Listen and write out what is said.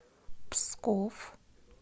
псков